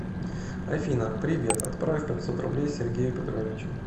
афина привет отправь пятьсот рублей сергею петровичу